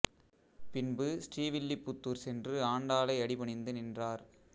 பின்பு ஸ்ரீ வில்லிபுத்தூர் சென்று ஆண்டாளை அடி பணிந்து நின்றார்